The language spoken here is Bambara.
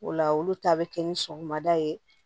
O la olu ta bɛ kɛ ni sɔgɔmada ye